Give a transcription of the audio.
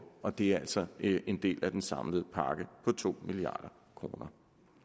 og det er altså en del af den samlede pakke på to milliard kroner